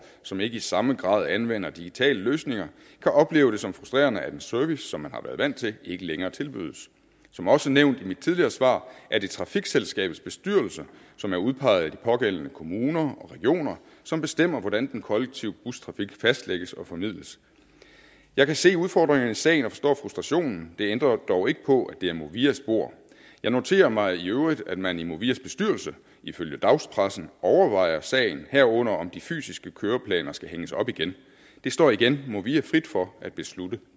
som ikke i samme grad anvender digitale løsninger kan opleve det som frustrerende at en service som man har været vant til ikke længere tilbydes som også nævnt i mit tidligere svar er det trafikselskabets bestyrelse som er udpeget af de pågældende kommuner og regioner som bestemmer hvordan den kollektive bustrafik fastlægges og formidles jeg kan se udfordringerne i sagen og forstår frustrationen det ændrer dog ikke på at det er movias bord jeg noterer mig i øvrigt at man i movias bestyrelse ifølge dagspressen overvejer sagen herunder om de fysiske køreplaner skal hænges op igen det står igen movia frit for at beslutte